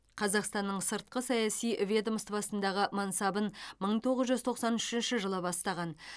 қазақстанның сыртқы саяси ведомствосындағы мансабын мың тоғыз жүз тоқсан үшінші жылы бастаған